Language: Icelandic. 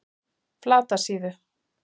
Flatasíðu